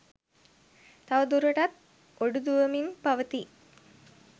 තව දුරටත් ඔඩු දුවමින් පවතී